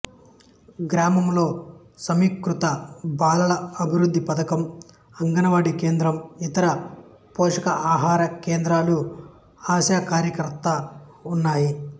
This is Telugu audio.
గ్రామంలో సమీకృత బాలల అభివృద్ధి పథకం అంగన వాడి కేంద్రం ఇతర పోషకాహార కేంద్రాలు ఆశా కార్యకర్త ఉన్నాయి